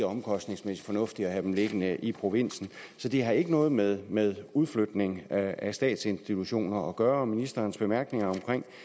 omkostningsmæssigt fornuftigt at have dem liggende i provinsen så det har ikke noget med med udflytning af statsinstitutioner at gøre ministerens bemærkninger